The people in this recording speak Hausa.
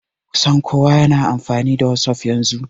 Kusan kowa na amfani da wasuf yanzu